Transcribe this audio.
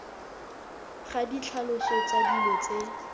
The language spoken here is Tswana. ga ditlhaloso tsa dilo tse